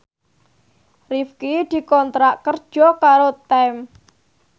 Rifqi dikontrak kerja karo Time